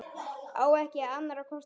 Á ekki annarra kosta völ.